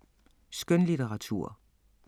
Skønlitteratur